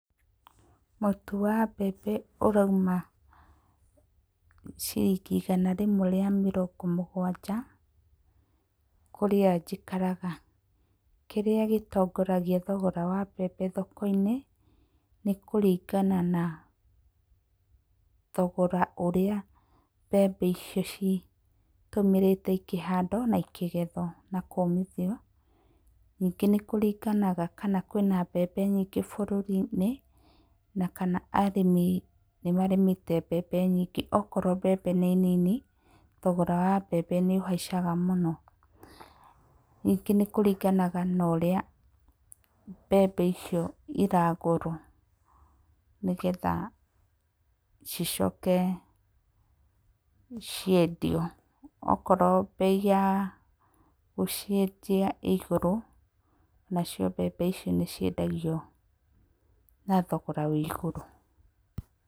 Mũtu wa mbembe ũrauma ciringi igana rĩmwe rĩa mĩrongo mũgwanja kũrĩa njikaraga. Kĩrĩa gĩtongoragia thogora wa mbembe thoko-inĩ nĩ kũringana na thogora ũrĩa mbembe icio citũmĩrĩte ikĩhandwo na ikĩgethwo na kũũmithio. Ningĩ nĩ kuringana kana kwĩna mbembe nyingĩ bũrũri-inĩ na kana arĩmi nĩmarĩmĩte mbembe nyingĩ. Okorwo mbembe nĩ nini thogora wa mbembe nĩũhaicaga mũno. Ningĩ nĩ kũringanaga na ũrĩa mbembe icio iragũrwo nĩgetha cicoke ciendio, okorwo bei ya gũciendia ĩ igũrũ nacio mbembe icio nĩciendagio na thogora wĩ igũrũ.